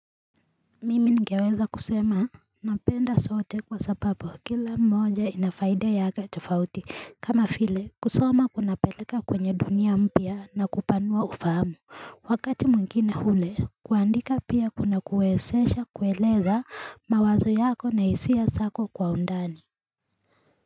Mimi ningeweza kusema napenda zote kwa sababu kila moja inafaida yake tofauti kama vile kusoma kunapeleka kwenye dunia mpya na kupanua ufahamu Wakati mwingine ule kuandika pia kuna kuwezesha kueleza mawazo yako na isia zako kwa undani.